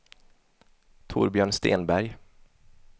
Torbjörn Stenberg